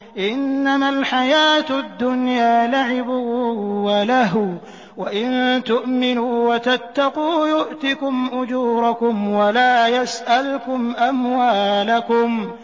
إِنَّمَا الْحَيَاةُ الدُّنْيَا لَعِبٌ وَلَهْوٌ ۚ وَإِن تُؤْمِنُوا وَتَتَّقُوا يُؤْتِكُمْ أُجُورَكُمْ وَلَا يَسْأَلْكُمْ أَمْوَالَكُمْ